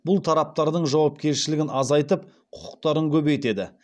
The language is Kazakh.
бұл тараптардың жауапкершілігін азайтып құқықтарын көбейтеді